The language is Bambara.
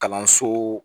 Kalanso